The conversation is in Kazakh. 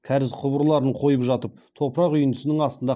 кәріз құбырларын қойып жатып топырақ үйіндісінің астында